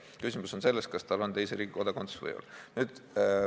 Küsimus on selles, kas tal on teise riigi kodakondsus või ei ole.